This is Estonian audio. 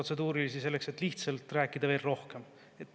Palun ära kasuta protseduurilisi selleks, et veel rohkem rääkida.